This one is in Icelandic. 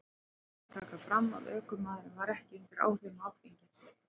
Rétt er að taka fram að ökumaðurinn var ekki undir áhrifum áfengis.